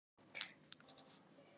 Sjáiði! Þetta er Skógafoss.